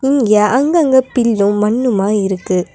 இங்க அங்கங்க பில்லு மண்ணுமா இருக்கு.